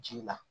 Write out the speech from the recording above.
Ji la